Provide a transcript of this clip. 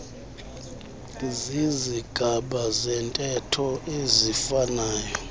zizigaba zentetho eziifanayo